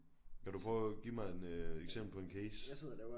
Kan du prøve give mig en øh eksempel på en case?